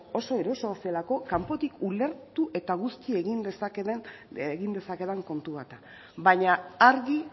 oso erosoa zelako kanpotik ulertu eta guzti egin dezakedan kontu bat da baina argi